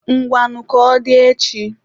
Ngwanụ ka ọ dị echi.